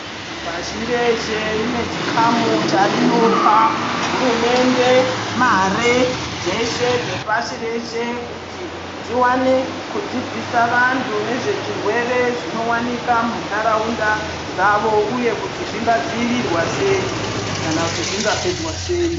Pashi reshe guta rinopa hurumende mari dzeshe dzepashi reshe kuti dziwane kudzidzisa vantu nezvechirwere zvinowanikwa mundaraunda dzavo uye kuti zvinga dziirirwa sei kana kuti zvingapedzwa sei.